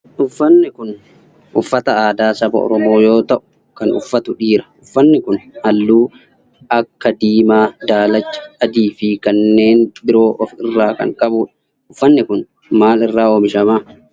Uffanni kun uffata aadaa saba oromoo yoo ta'u kan uffatu dhiira. Uffanni kun halluu akka diimaa, daalacha, adii fi kanneen biroo of irraa kan qabudha. Uffanni kun maal irraa oomishama?